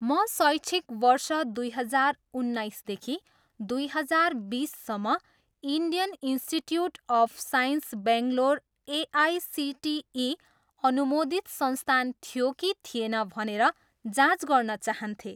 म शैक्षिक वर्ष दुई हजार उन्नाइसदेखि दुई हजार बिससम्म Indian Institute of Science Bangalore AICTE अनुमोदित संस्थान थियो कि थिएन भनेर जाँच गर्न चाहन्थेँ।